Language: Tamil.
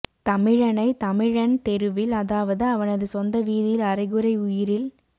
தமிழனை தமிழன் தெருவில் அதாவது அவனது சொந்த வீதியில் அறைகுறை உயிரில்